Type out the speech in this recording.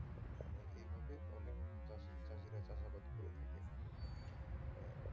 মানে এইভাবে অনেক চাষি~চাষিরা চাষ আবাদ করে থাকে আহ